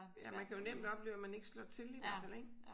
Ja man kan jo nemt opleve at man ikke slår til i hvert fald ik